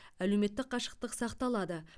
әлеуметтік қашықтық сақталады